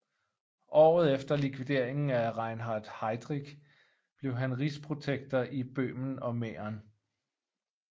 Året efter likvideringen af Reinhard Heydrich blev han rigsprotektor i Böhmen og Mähren